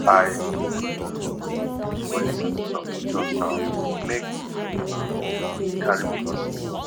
i um go lis ten to some nature sound make um e carry me go sleep